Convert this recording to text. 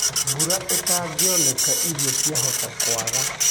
Mbũra ĩtangĩonekana irio ciahota kwaga